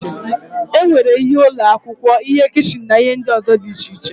E nwere ihe ụlọ akwụkwọ, ihe kichin na ihe ndị ọzọ dị iche iche.